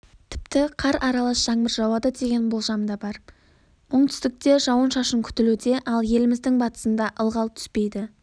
тіпті қар аралас жаңбыр жауады деген болжам бар оңтүстікте жауын-шашын күтілуде ал еліміздің батысында ылғал түспейді